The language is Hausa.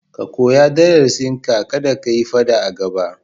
Ka koyi darasinka, kada ka yi faɗa a gaba.